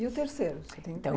E o terceiro? então,